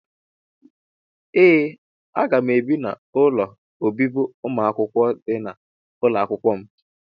Ee aga m ebi n'ụlọ obibi umuakwukwo dị na ụlọakwụkwọ m.